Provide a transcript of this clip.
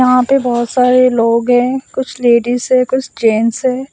वहां पे बहुत सारे लोग हैं कुछ लेडिज है कुछ जेन्ट्स है।